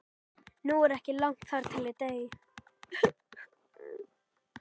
Nú er ekki langt þar til ég dey.